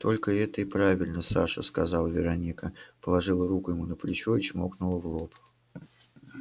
только это и правильно саша сказала вероника положила руку ему на плечо и чмокнула в лоб